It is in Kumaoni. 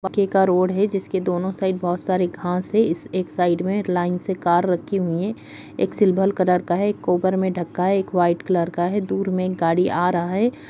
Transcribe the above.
के-का रोड है जिसके दोनों साइड बहोत सारी घास है इस एक साइड में लाइन से कार रखी हुई हैं एक सिल्वर कलर का है एक कवर में ढका है एक व्हाइट कलर का है दूर में एक गाड़ी आ रहा है।